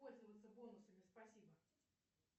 пользоваться бонусами спасибо